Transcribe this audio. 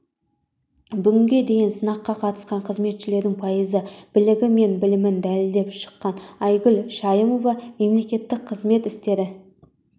бүгінге дейін сынаққа қатысқан қызметшілердің пайызы білігі мен білімін дәлелдеп шыққан айгүл шайымова мемлекеттік қызмет істері